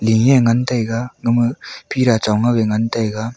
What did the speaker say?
leh ye ngaitaiga gamah phira chongngaw ye ngantaiga.